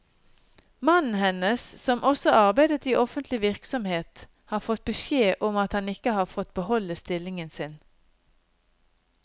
Mannen hennes, som også arbeidet i offentlig virksomhet, har fått beskjed om at han ikke har fått beholde stillingen sin.